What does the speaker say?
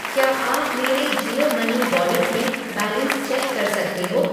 क्या आप मेरे जियो मनी वॉलेट में बैलेंस चेक कर सकते हो?